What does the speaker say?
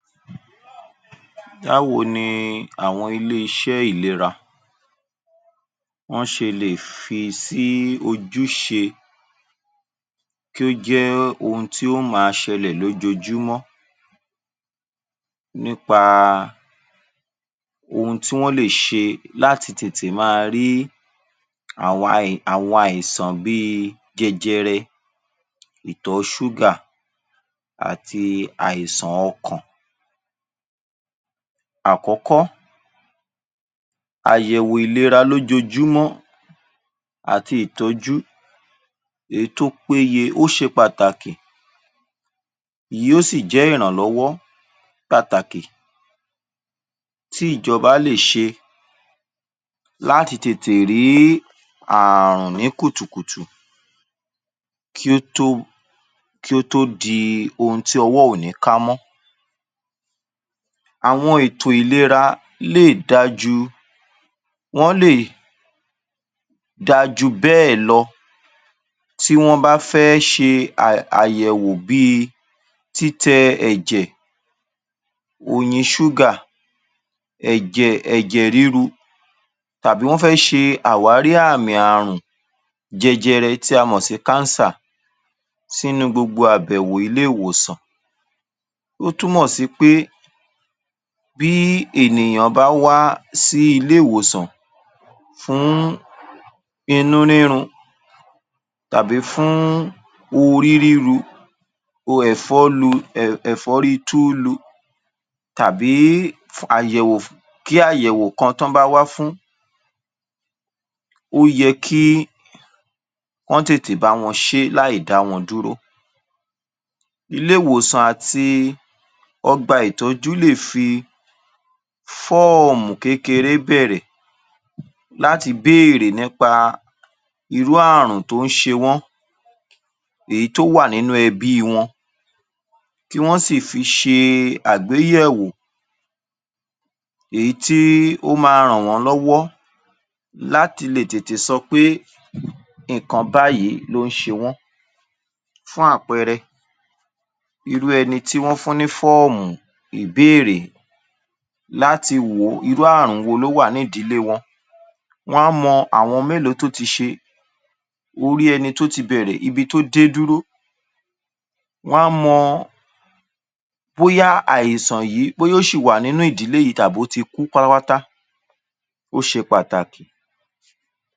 Dáwò ni àwọn ilé iṣẹ́ ìlera. Wọn ṣe lè fi sí ojúṣe kí ó jẹ ón tí a máa ṣẹlẹ̀ lójojúmọ́ nípa ohun tí wọn lè ṣe láti tètè máa rí àwọn, àwọn àìsàn bí i jẹjẹrẹ, ìtọ́ ṣuga àti àìsàn ọkàn. Àkọ́kọ́, ayẹwò ìlera lójojúmọ́ àti ìtọju èyí tó péye ó ṣe pàtàkì. Iyò sì jẹ́ ìrànlọwọ́ pàtàkì tí ìjọba lè ṣe láti tètè rí ààrùn ní kùtukutu kí ó tó, kí ó tó di ohun tí ọwọ́ òní ká mọ́. Àwọn ètò ìlera lè dájú, wọn le d'ajù bẹ́ẹ̀ lọ. Tí wọn bá fẹ́ ṣe àyẹwò bíi títẹ ẹ̀jẹ, oyin ṣuga, ẹ̀jẹ, ẹ̀jẹ riru tàbí wọn fẹ́ ṣe àwárí àmì ààrùn jẹjẹrẹ tí a mọ sí káansà sínú gbogbo abẹ̀wò ilé ìwoṣàn.